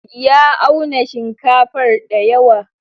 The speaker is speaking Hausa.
Ya auna shinkafar dayawa.